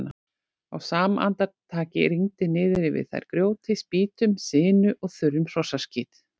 Á sama andartaki rigndi niður yfir þær grjóti, spýtum, sinu og þurrum hrossaskít.